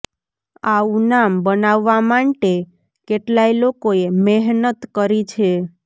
આવું નામ બનાવવા માંટે કેટલાય લોકો એ મેહનત કરી છે